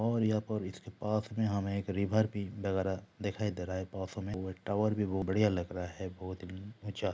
और यहाँ पर इसके पास में हमे रिवर भी वगेरा दिखाई दे रहा है टावर भी बढ़िया लग रहा है बहुत ही ऊंचा--